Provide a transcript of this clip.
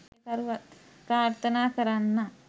ප්‍රාර්ථනා කරන්නම්.